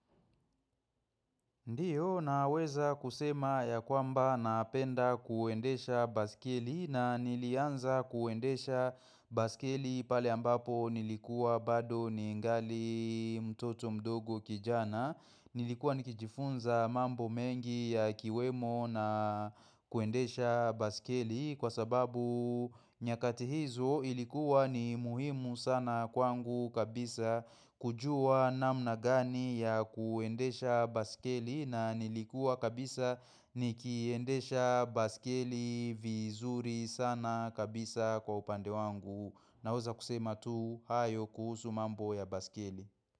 Ndio naweza kusema ya kwamba napenda kuendesha baskeli na nilianza kuendesha baskeli pale ambapo nilikuwa bado ningali mtoto mdogo kijana. Nilikuwa nikijifunza mambo mengi yakiwemo na kuendesha baskeli kwa sababu nyakati hizo ilikuwa ni muhimu sana kwangu kabisa kujuwa namna gani ya kuendesha baskeli na nilikuwa kabisa nikiendesha baskeli vizuri sana kabisa kwa upande wangu naweza kusema tu hayo kuhusu mambo ya baskeli.